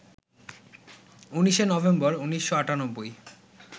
১৯শে নভেম্বর, ১৯৯৮